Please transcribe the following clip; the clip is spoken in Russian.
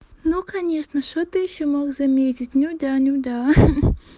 ну конечно что ты ещё мог заметить ну да ну да хи-хи